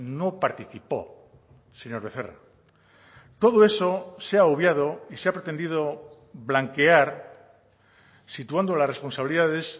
no participó señor becerra todo eso se ha obviado y se ha pretendido blanquear situando las responsabilidades